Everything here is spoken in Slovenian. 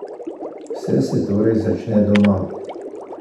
Vse se torej začne doma!